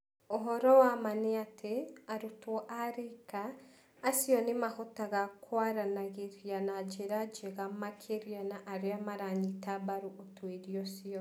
Ũhoro wa ma nĩ atĩ, "arutwo a riika" acio nĩ mahotaga kwaranagĩria na njĩra njega makĩria na arĩa maranyita mbaru ũtuĩria ũcio.